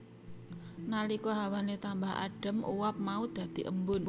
Nalika hawane tambah adem uap mau dadhi embun